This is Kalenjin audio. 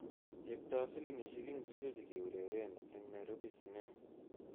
Cheptoo filamishek ingircho chekeureren eng Nairobi sinema